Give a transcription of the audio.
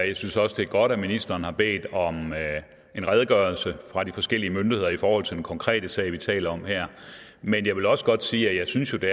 jeg synes også det er godt at ministeren har bedt om en redegørelse fra de forskellige myndigheder i forhold til den konkrete sag som vi taler om her men jeg vil også godt sige at jeg synes jo det